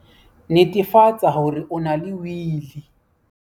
Netefatsa hore o na le Wili!